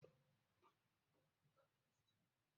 Manomin ya fara shuka?